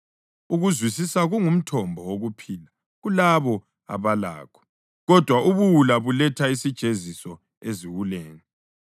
Ukuzwisisa kungumthombo wokuphila kulabo abalakho, kodwa ubuwula buletha isijeziso eziwuleni.